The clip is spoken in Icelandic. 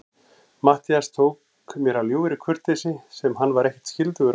Matthías tók mér af ljúfri kurteisi, sem hann var ekkert skyldugur að gera.